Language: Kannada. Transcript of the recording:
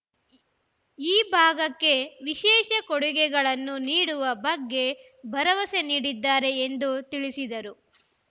ಈ ಭಾಗಕ್ಕೆ ವಿಶೇಷ ಕೊಡುಗೆಗಳನ್ನು ನೀಡುವ ಬಗ್ಗೆ ಭರವಸೆ ನೀಡಿದ್ದಾರೆ ಎಂದು ತಿಳಿಸಿದರು